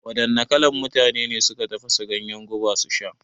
Wadanna kalan mutane ne suka tafasa ganyen guba su sha?